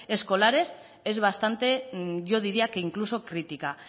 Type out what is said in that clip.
escolares es bastante yo diría que incluso crítica